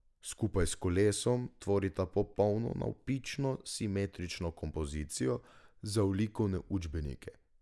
Skupaj s kolesom tvorita popolno navpično simetrično kompozicijo za v likovne učbenike.